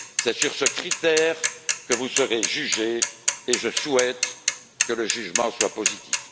C'est sur ce critère que vous serez jugé et je souhaite que le jugement soit positif.